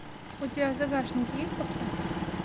у тебя в загашнике есть попса